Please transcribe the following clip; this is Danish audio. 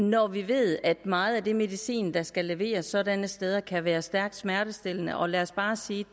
når vi ved at meget af det medicin der skal leveres sådanne steder kan være stærkt smertestillende og lad os bare sige